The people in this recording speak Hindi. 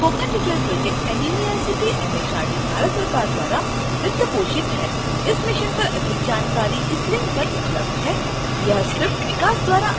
spoken tutorial project NMEICT MHRD Bharat सरकार द्वारा वित्त पोषित है इस मिशन पर अधिक जानकारी इस लिंक पर उपलब्ध है